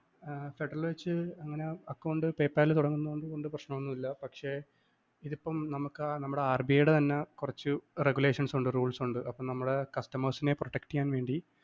ഏർ federal വെച്ച് പിന്നെ account PayPal തുടങ്ങുന്നതുകൊണ്ട് വല്യ പ്രശ്നമൊന്നുമില്ല. പക്ഷെ ഇതിപ്പം നമുക്ക് നമ്മുടെ RBI യുടെ തന്നെ കുറച്ച് regulations ഉണ്ട് rules ഉണ്ട് നമ്മുടെ customers നെ protect ചെയ്യാന്‍ വേണ്ടി